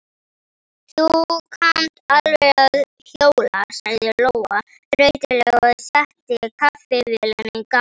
Þú kannt alveg að hjóla, sagði Lóa þreytulega og setti kaffivélina í gang.